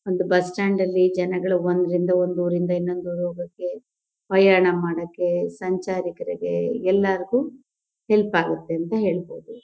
ಒಂದ್ bus stand ಅಲ್ಲಿ ಜನಗಳು ಒಂದ್ರಿಂದ ಒಂದ್ ಊರಿನಿಂದ ಇನೊಂದ್ ಊರಿಗ್ ಹೋಗಕ್ಕೆ ಪ್ರಯಾಣ ಮಾಡಕ್ಕೆ ಸಂಚಾರಿಕರಿಗೆ ಎಲ್ಲಾರ್ಗೂ ಹೆಲ್ಪ್ ಆಗತ್ತೆ ಅಂತ ಹೇಳ್ಬೋದು.